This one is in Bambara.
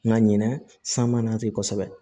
Nka ɲinɛ san mana ten kosɛbɛ